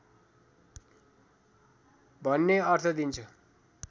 भन्ने अर्थ दिन्छ